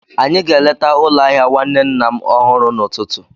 Anyị ga-eleta ụlọ ahịa nwanne nna m ọhụrụ n'ụtụtụ.